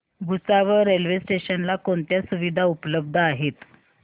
Bhusawal railway station ला कोणत्या सुविधा उपलब्ध आहेत